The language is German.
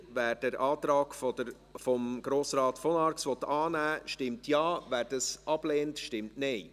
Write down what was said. Wer den Antrag von Grossrat von Arx annehmen will, stimmt Ja, wer diesen ablehnt, stimmt Nein.